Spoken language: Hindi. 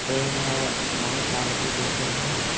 पेड़ है बहुत सारे इसी जैसे हैं।